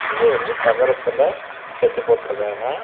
சுத்தியும் வந்து தகரத்துல செட்டு போட்டு இருக்காங்க.